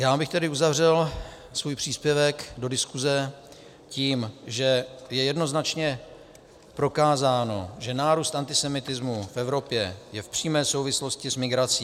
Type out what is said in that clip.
Já abych tedy uzavřel svůj příspěvek do diskuse tím, že je jednoznačně prokázáno, že nárůst antisemitismu v Evropě je v přímé souvislosti s migrací.